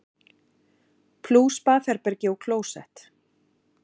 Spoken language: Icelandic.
Plús baðherbergi og klósett.